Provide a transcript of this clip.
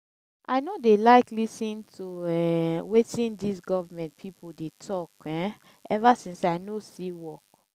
i no dey like lis ten to um wetin dis government people dey talk um ever since i no see work